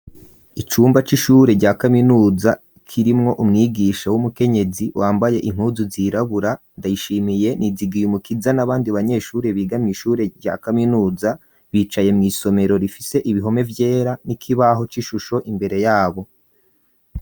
Icumba c'ishure rya kaminuza kirimwo umwigisha w'umukenyezi wambaye inkuzu zirabura ndayishimiye nizigiye umukiza n'abandi banyeshuri bigamye ishure rya kaminuza bicaye mu isomero rifise ibihome byera n'ikibaho c'ishusho imbere yabo.